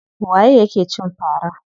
Waye ya ke cin fara?